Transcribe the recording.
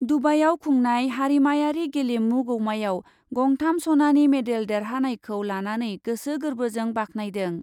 दुबाइआव खुंनाय हारिमायारि गेलेमु गौमायाव गंथाम सनानि मेडेल देरहानायखौ लानानै गोसो गोर्बोजों बाखनायदों।